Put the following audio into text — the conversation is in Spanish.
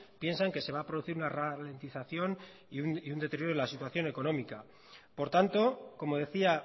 piensan que se va a producir una ralentización y un deterioro de la situación económica por tanto como decía